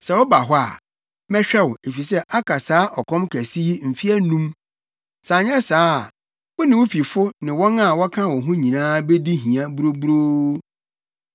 Sɛ woba hɔ a, mɛhwɛ wo, efisɛ aka saa ɔkɔm kɛse yi mfe anum. Sɛ anyɛ saa a, wo ne wo fifo ne wɔn a wɔka wo ho nyinaa bedi hia buruburoo.’